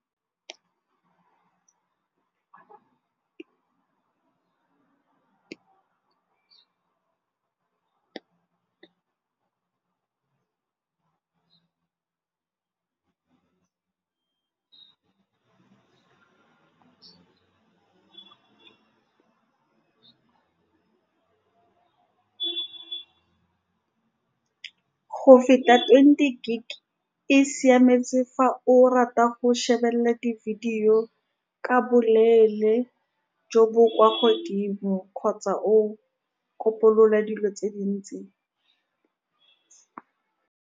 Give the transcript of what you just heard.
Go feta twenty gig, e siametse fa o rata go shebelela di-video ka boleele jo bo kwa godimo, kgotsa o kopolola dilo tse dintsi.